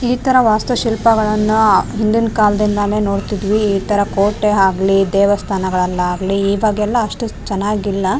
ಈ ತರ ವಾಸ್ತುಶಿಲ್ಪಗಳನ್ನ ಹಿಂದಿನ್ ಕಾಲದಲ್ಲಿ ನಾನು ನೋಡ್ತಿದ್ವಿ ಈ ತರ ಕೋಟೆ ಆಗ್ಲಿ ದೇವಸ್ಥಾನಗಳಲ್ಲಾಗ್ಲಿ ಈವಾಗ ಎಲ್ಲ ಅಷ್ಟು ಚೆನಾಗಿಲ್ಲ.